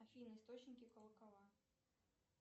афина источники колокола